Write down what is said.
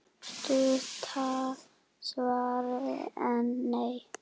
Stutta svarið er: nei.